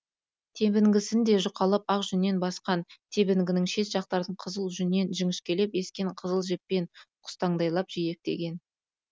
тебінгісін де жұқалап ақ жүннен басқан тебінгінің шет жақтарын қызыл жүннен жіңішкелеп ескен қызыл жіппен құстаңдайлап жиектеген